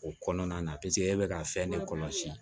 O kɔnɔna na e bɛ ka fɛn de kɔlɔsi